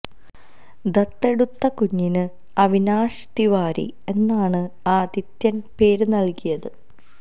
ദത്തെടുത്ത കുഞ്ഞിന് അവിനാശ് തിവാരി എന്നാണ് ആദിത്യന് പേര് നല്കിയത്